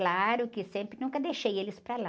Claro que sempre, nunca deixei eles para lá.